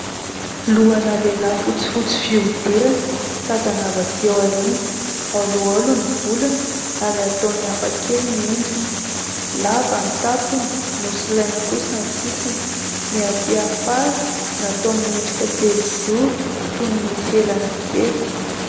Lohana lehilahy fotsy fotsy fiodirana tazana avy atỳ aoriana holoholo ny volony ary ataony hafa kely ny endriny. Lava ny tapony nosolaina kosa ny sisiny. Ny atỳ afara natao miendrika telozoro toy ny misy elany kely.